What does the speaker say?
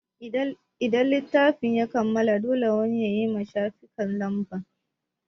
Idan littafin ya kammala, dole wani yayiwa shafikan lamba